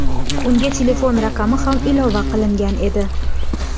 Unga telefon raqami ham ilova qilingan edi.